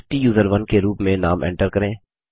स्टूसरोन के रूप में नाम एन्टर करें